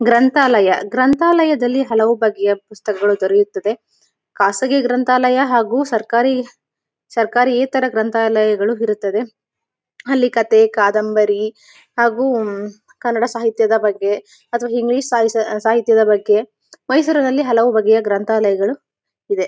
ಗ್ರಂಥಾಲಯ ಗ್ರಂಥಾಲಯದಲ್ಲಿ ಹಲವು ಬಗೆಯ ಪುಸ್ತಕಗಳು ದೊರೆಯುತ್ತವೆ ಕಾಸಗಿಯ ಗ್ರಂತಾಲಯ ಹಾಗು ಸರ್ಕಾರಿ ಸರ್ಕಾರಿ ಈ ತರ ಗ್ರಂತಾಲಯಗಳು ಇರುತ್ತವೆ ಅಲ್ಲಿ ಕಥೆ ಕಾದಂಬರಿ ಹಾಗು ಕನ್ನಡ ಸಾಹಿತ್ಯದ ಬಗ್ಗೆ ಅಥವಾ ಇಂಗ್ಲಿಷ್ ಸಾಹಿತ್ಯದ ಬಗ್ಗೆ ಮೈಸೊರಿನ್ಲಲಿ ಹಲವು ಬಗೆಯ ಗ್ರಂಥಾಲಯಗಳು ಇವೆ.